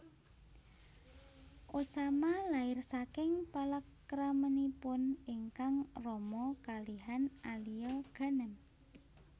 Osama lair saking palakramanipun ingkang rama kalihan Alia Ghanem